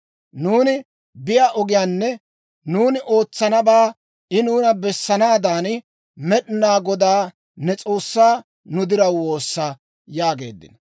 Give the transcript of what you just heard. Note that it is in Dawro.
Nuuni biyaa ogiyaanne nuuni ootsanabaa I nuuna bessanaadan, Med'inaa Godaa ne S'oossaa nu diraw woossa» yaageeddino.